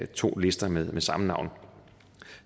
to lister med samme navn